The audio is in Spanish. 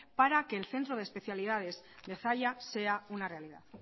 para que el centro de especialidades de zalla sea una realidad